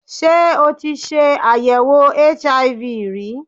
Ṣé o tí ṣe àyèwò HIV ri?